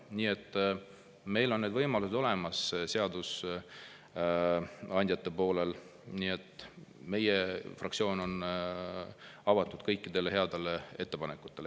Nii et meil, seadusandjatel, on need võimalused olemas, meie fraktsioon on avatud kõikidele headele ettepanekutele.